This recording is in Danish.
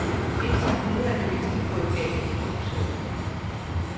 Indtil videre er det meste gået galt i produktionen.